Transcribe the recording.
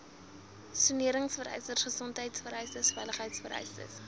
soneringvereistes gesondheidvereistes veiligheidvereistes